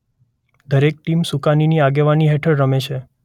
દરેક ટીમ સુકાનીની આગેવાની હેઠળ રમે છે.